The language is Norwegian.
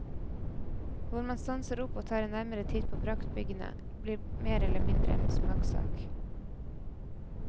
Hvor man stanser opp og tar en nærmere titt på praktbyggene, blir mer eller mindre en smakssak.